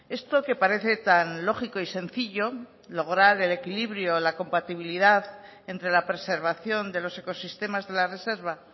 esto que parece tan lógico y sencillo lograr el equilibrio la compatibilidad entre la preservación de los ecosistemas de la reserva